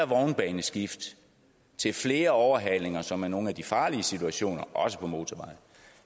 vognbaneskift flere overhalinger som er nogle af de farlige situationer også på motorveje